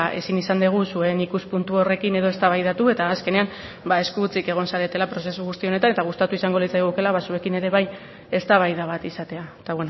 ezin izan dugu zuen ikuspuntu horrekin edo eztabaidatu eta azkenean ba esku hutsik egon zaretela prozesu guzti honetan eta gustatu izango litzaigukeela ba zuekin ere bai eztabaida bat izatea eta